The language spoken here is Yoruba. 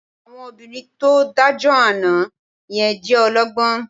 Àwọn obìnrin tó dájọ́ àná yẹn jẹ́ ọlọ́gbọ́n